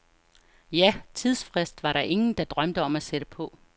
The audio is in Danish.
Ja, tidsfrist var der ingen, der drømte om at sætte på.